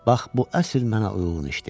Bax bu əsl mənə uyğun işdi.